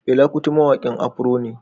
Fela kuti mawaƙin Afro ne